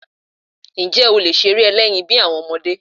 Ǹjẹ́ o lè ṣeré ẹlẹ́yin bí àwọn ọmọdé?